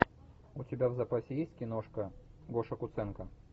у тебя в запасе есть киношка гоша куценко